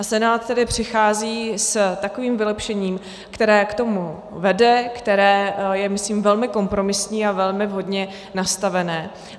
A Senát tedy přichází s takovým vylepšením, které k tomu vede, které je myslím velmi kompromisní a velmi vhodně nastavené.